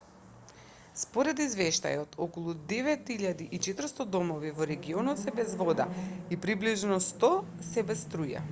според извештајот околу 9400 домови во регионот се без вода и приближно 100 се без струја